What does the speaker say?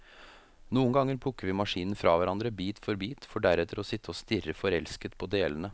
Noen ganger plukker vi maskinen fra hverandre, bit for bit, for deretter å sitte og stirre forelsket på delene.